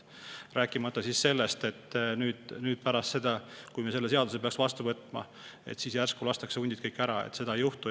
Rääkimata sellest, et kui me peaks selle seaduse vastu võtma, siis pärast seda lastakse järsku kõik hundid maha – seda ei juhtu.